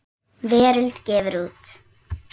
Veröld gefur út.